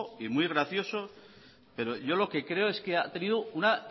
y muy gracioso pero yo lo que creo es que ha tenido una